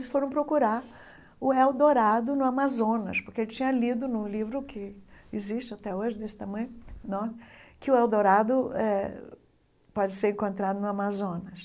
Eles foram procurar o El Dorado no Amazonas, porque ele tinha lido num livro que existe até hoje, desse tamanho, que o El Dorado eh pode ser encontrado no Amazonas.